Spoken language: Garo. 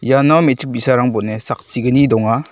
iano me·chik bi·sarang bon·e sakchi·gni donga.